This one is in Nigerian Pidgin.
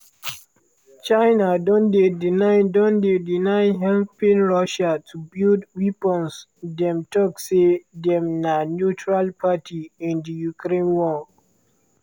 china don deny don deny helping russia to build weapons dem tok say dem na neutral party in di ukraine war.